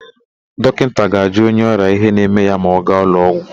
Dọkịnta ga-ajụ onye ọrịa ihe na-eme ya ma ọ gaa ụlọụgwọ.